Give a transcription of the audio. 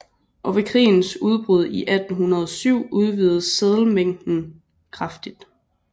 Og ved krigens udbrud i 1807 udvidedes seddelmængden kraftigt